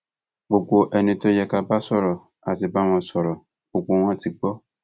gbogbo ẹni tó yẹ ká bá sọrọ á ti bá wọn sọrọ gbogbo wọn ti gbó